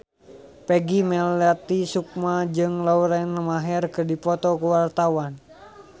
Peggy Melati Sukma jeung Lauren Maher keur dipoto ku wartawan